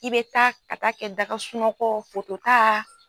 I bɛ taa ka taa kɛ da ka sunɔgɔ foto ta.